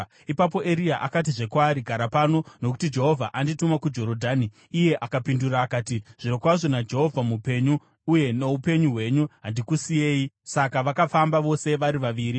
Ipapo Eria akatizve kwaari, “Gara pano; nokuti Jehovha andituma kuJorodhani.” Iye akapindura akati, “Zvirokwazvo naJehovha mupenyu uye noupenyu hwenyu, handikusiyei.” Saka vakafamba vose vari vaviri.